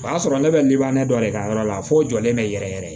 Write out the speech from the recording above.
O y'a sɔrɔ ne bɛ dɔ de ka yɔrɔ la fo n jɔlen bɛ yɛrɛ yɛrɛ